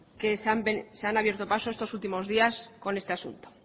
que se han abierto pasos estos últimos días con este asunto